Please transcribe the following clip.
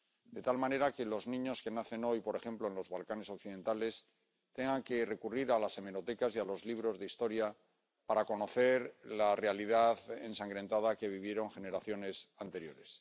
De tal manera que los niños que nacen hoy, por ejemplo, en los Balcanes occidentales, tengan que recurrir a las hemerotecas y a los libros de historia para conocer la realidad ensangrentada que vivieron generaciones anteriores.